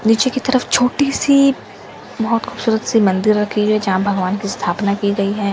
नीचे की तरफ छोटी सी बहोत खूबसूरत सी मंदिर रखी गई हैं जहां भगवान की स्थापना की गई है।